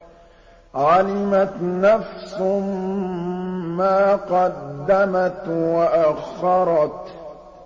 عَلِمَتْ نَفْسٌ مَّا قَدَّمَتْ وَأَخَّرَتْ